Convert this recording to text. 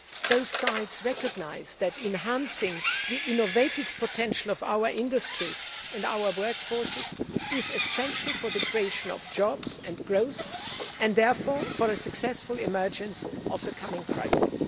Both sides recognise that enhancing the innovative potential of our industries and our workforces is essential for the creation of jobs and growth and therefore for a successful emergence of the coming crisis.